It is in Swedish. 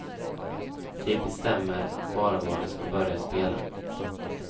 De bestämmer bara var de ska börja spela.